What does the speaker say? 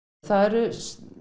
það eru